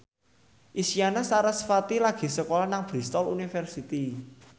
Isyana Sarasvati lagi sekolah nang Bristol university